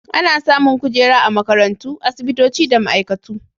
Ana samun kujera a makarantu, asibitoci da ma'aikatu.